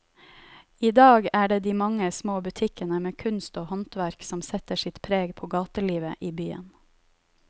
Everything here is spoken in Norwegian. I dag er det de mange små butikkene med kunst og håndverk som setter sitt preg på gatelivet i byen.